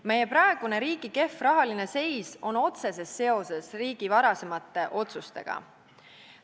Meie riigi praegune kehv rahaline seis on otseses seoses varasemate otsustega.